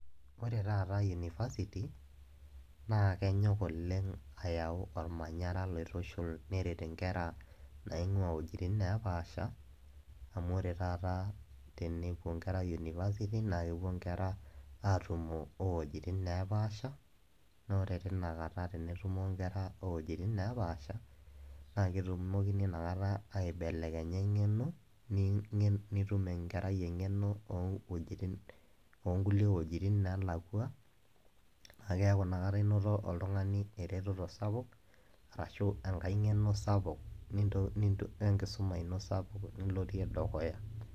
Ore taata university na kenyok oleng ayau ormanyara oitushul neret nkera naingua wuejitin naapasha amu ore taata tenepuo nkera university na kepuo nkera atumo owuejitin napaasha na ore tinakata tenetumo nkera owuejitin napaasha naketumokini nakata aibelekenya engeno nintum enkerai engeno owuejitin ongulie wuejitin nalakwa na kaeaku inakata inoto oltungani eretoto sapuk ashu enkae ngenobsapuk nintoki enkisuma ino sapuk nilotie dukuya.